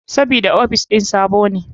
Sabida ofis ɗin sabo ne.